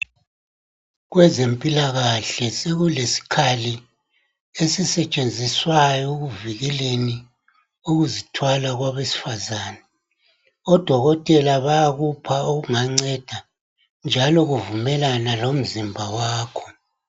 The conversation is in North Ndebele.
Kwezempilakahle sekuleskhali esisetshenziswayo ekuvikeleni ukuzithwala kwabesfazane. Odokotela bayakupha okunganceda, njalo kuvumelana lomzimba wakho.